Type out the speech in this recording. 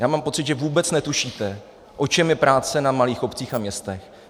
Já mám pocit, že vůbec netušíte, o čem je práce na malých obcích a městech.